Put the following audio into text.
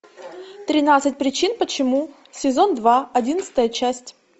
тринадцать причин почему сезон два одиннадцатая часть